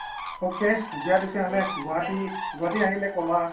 ok দিয়া তেতিয়া হলে গুৱাহাটী গুৱাহাটী আহিলে কবা